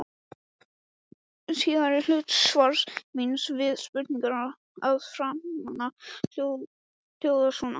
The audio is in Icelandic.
Síðari hluti svars míns við spurningunni að framan hljóðar svo